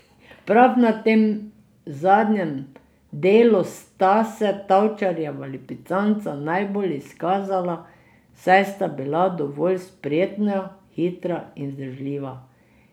Prav na tem zadnjem delu sta se Tavčarjeva lipicanca najbolj izkazala, saj sta bila dovolj spretna, hitra in vzdržljiva.